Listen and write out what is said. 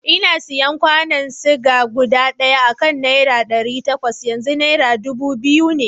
Ina sayan kwanon ciga guda ɗaya akan nera ɗari takwas, yanzu nera dubu biyu ne.